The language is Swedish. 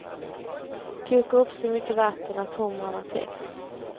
Koka upp så mycket vatten att humrarna täcks.